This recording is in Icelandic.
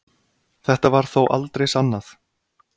Þetta var þó aldrei sannað